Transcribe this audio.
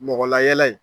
Mɔgɔ layɛlɛ